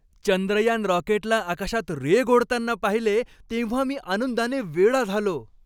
चंद्रयान रॉकेटला आकाशात रेघ ओढताना पाहिले तेव्हा मी आनंदाने वेडा झालो.